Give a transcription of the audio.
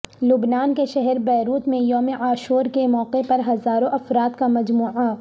لبنان کے شہر بیروت میں یوم عاشور کے موقع پر ہزاروں افراد کا مجمع